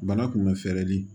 Bana kun bɛ fɛɛrɛ de